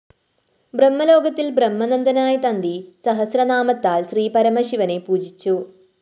ബ്രഹ്മലോകത്തില്‍ ബ്രഹ്മനന്ദനനായ തണ്ഡി സഹസ്രനാമത്താല്‍ ശ്രീപരമശിവനെ പൂജിച്ചു